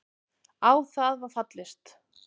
Á það var fallist.